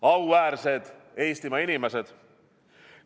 Auväärsed Eestimaa inimesed!